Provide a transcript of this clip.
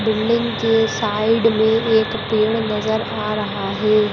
Building के side में एक पेड़ नजर आ रहा है।